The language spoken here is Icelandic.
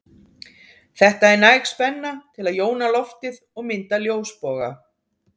Þetta er næg spenna til að jóna loftið og mynda ljósboga.